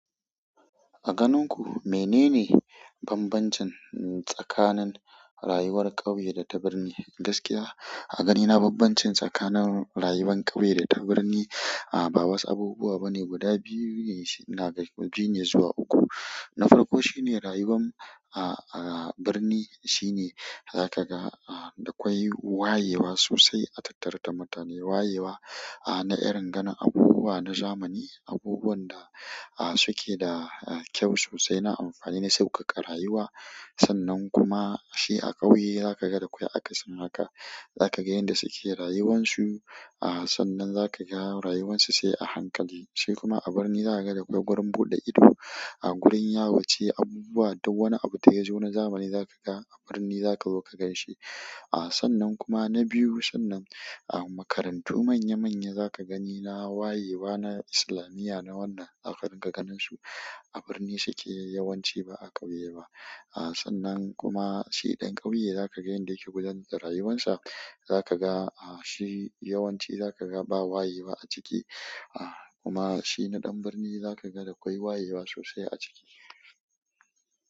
A ganin ku mene ne bambancin tsakanin rayuwar ƙauye da ta birni? Gaskiya a ganina bambancin tsakanin rayuwan ƙauye da ta birni ba wasu abubuwa ba ne guda biyu ne na daga biyu ne zuwa uku. Na farko shi ne rayuwan a, a birni shine za ka ga a, da akwai wayewa sosai a tattara mutane. Wayewa a, na irin ganin abubuwa na zamani, abubuwan da suke da kyau sosai na amfani na sauƙaƙa rayuwa. Sannan kuma shi a ƙauye za ka ga da akwai akasin haka. Za ka ga yanda suke rayuwansu. A sannan zakaga rayuwansu sai a hankali shi kuma a birni zakaga da kwai gurin buɗe ido. A gurin yawance abubuwa duk wani abu da yazo na zamani za ka ga a birni za kazo kagan shi. A, sannan kuma na biyu sannan a makarantu manya manya za ka gani na wayewa na islamiya na wannan za ka ringa ganin su. A birni suke yawanci ba a ƙauye ba. A sannan kuma shi ɗan ƙauye za ka ga yanda yake gudanar da rayuwansa. Za ka ga a, shi yawanci za ka ga ba wayewa a ciki. A kuma shi na ɗan birni za ka ga da akwai wayewa sosai a ciki.